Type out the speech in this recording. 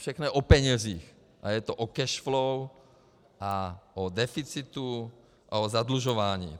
Všechno je o penězích a je to o cash flow a o deficitu a o zadlužování.